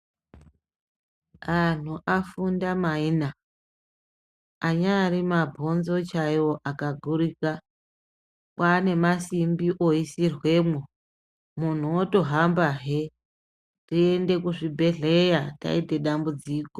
Antu afunda maina anyaari mabhonzo chaiwo akagurika kwaane masimbi oisirwemwo muntu otohambahe tiende kuzvibhedhleya taite dambudziko.